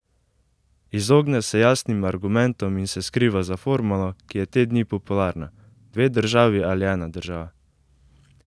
Izogne se jasnim argumentom in se skriva za formulo, ki je te dni popularna: "dve državi ali ena država".